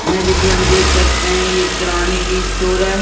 जैसे कि हम देख सकते हैं ये किराने की स्टोर है।